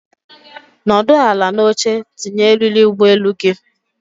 Nọdụ ala n'oche tinye eriri ụgbọelu gị!